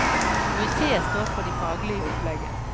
Museet står for det faglige opplegget.